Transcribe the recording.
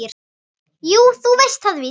Jú, þú veist það víst.